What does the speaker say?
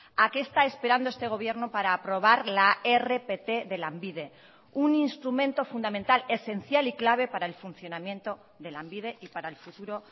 a qué está esperando este gobierno para aprobar la rpt de lanbide un instrumento fundamental esencial y clave para el funcionamiento de lanbide y para el futuro